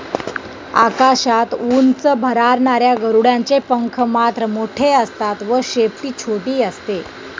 आकाशात उंच भरारणाऱ्या गरुडांचे पंख मात्र मोठे असतात व शेपटी छोटी असते.